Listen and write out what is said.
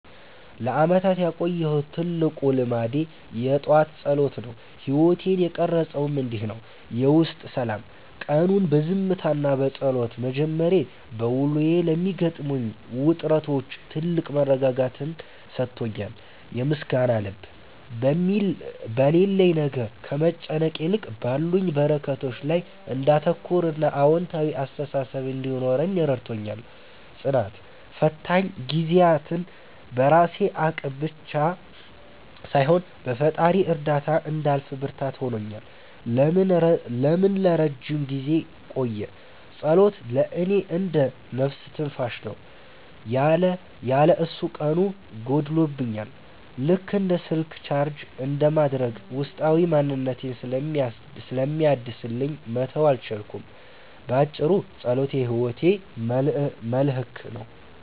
ለዓመታት ያቆየሁት ትልቁ ልማዴ የጠዋት ጸሎት ነው። ሕይወቴን የቀረፀውም እንዲህ ነው፦ የውስጥ ሰላም፦ ቀኑን በዝምታና በጸሎት መጀመሬ፣ በውሎዬ ለሚገጥሙኝ ውጥረቶች ትልቅ መረጋጋትን ሰጥቶኛል። የምስጋና ልብ፦ በሌለኝ ነገር ከመጨነቅ ይልቅ ባሉኝ በረከቶች ላይ እንዳተኩርና አዎንታዊ አስተሳሰብ እንዲኖረኝ ረድቶኛል። ጽናት፦ ፈታኝ ጊዜያትን በራሴ አቅም ብቻ ሳይሆን በፈጣሪ እርዳታ እንዳልፍ ብርታት ሆኖኛል። ለምን ለረጅም ጊዜ ቆየ? ጸሎት ለእኔ እንደ "ነፍስ ትንፋሽ" ነው። ያለ እሱ ቀኑ ጎድሎብኛል፤ ልክ እንደ ስልክ ቻርጅ እንደማድረግ ውስጣዊ ማንነቴን ስለሚያድስልኝ መተው አልቻልኩም። ባጭሩ፣ ጸሎት የሕይወቴ መልሕቅ ነው።